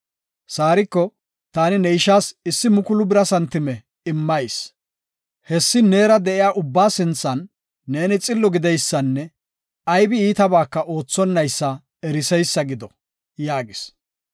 Saariko, “Taani ne ishas issi mukulu bira santime immayis. Hessi neera de7iya ubba sinthan neeni xillo gideysanne aybi iitabaka oothonaysa eriseysa gido” yaagis.